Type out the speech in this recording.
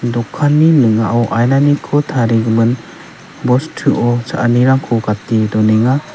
dokanni ning·ao ainaniko tarigimin bostuo cha·anirangko gate donenga.